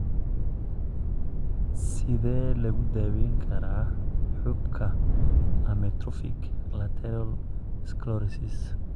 Sidee lagu daweyn karaa xuubka amyotrophic lateral sclerosis?